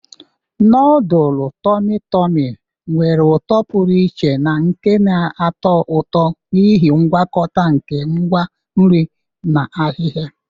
Nodulu tormi tormi nwere uto pụrụ iche na nke na-atọ ụtọ n'ihi ngwakọta nke ngwa nri na ahihia.